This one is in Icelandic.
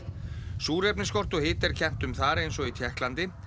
súrefnisskorti og hita er kennt um þar eins og í Tékklandi